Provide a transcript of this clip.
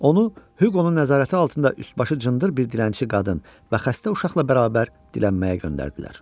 Onu Hüqonun nəzarəti altında üst-başı cındır bir dilənçi qadın və xəstə uşaqla bərabər dilənməyə göndərdilər.